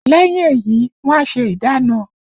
Lẹ́yìn èyí wọn a ṣe ìdána